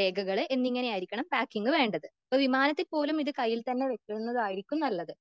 രേഖകൾ എന്നിങ്ങനെ ആയിരിക്കണം പാക്കിങ്ങിൽ വേണ്ടത്.എപ്പോൾ വീമാനത്തിൽ പോലും ഇത് കയ്യിൽ തന്നെ വെക്കുന്നതായിരിക്കും നല്ലത്.